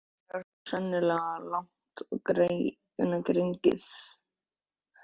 Þetta er þó sennilega of langt gengið.